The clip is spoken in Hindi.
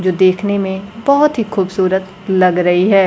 जो देखने में बहोत ही खूबसूरत लग रही है।